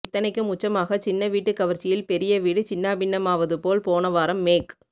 இத்தனைக்கும் உச்சமாக சின்ன வீட்டுக் கவர்ச்சியில் பெரிய வீடு சின்னாபின்னமாவது போல் போன வாரம் மேக்